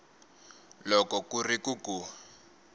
loko ku ri ku ku